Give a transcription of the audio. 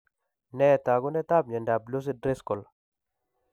Nee taakunetaab myondap Lucey Driscoll?